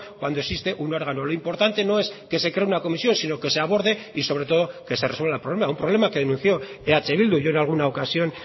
cuando existe un órgano lo importante no es que se cree una comisión sino que se aborde y sobre todo que se resuelva el problema un problema que denunció eh bildu yo en alguna ocasión